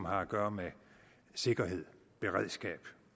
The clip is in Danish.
har at gøre med sikkerhed beredskab